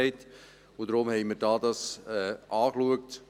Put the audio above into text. Deshalb haben wir es hier angeschaut.